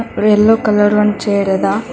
ಎಲ್ಲೋ colour one chair ಅದ.